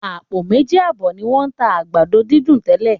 Àpò méjì àbọ̀ ni wọ́n ń tà àgbàdo dídùn tẹ́lẹ̀.